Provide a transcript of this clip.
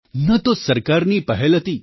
ન તો સરકારની પહેલ હતી